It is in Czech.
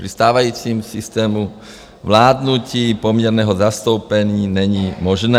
Při stávajícím systému vládnutí poměrného zastoupení není možné.